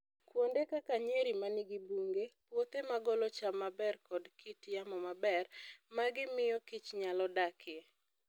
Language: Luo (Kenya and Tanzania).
Kuonde kaka nyeri manigi bunge , puothe magolo cham maber koda kit yamo maber ma gimiyo kich nyalo dakie.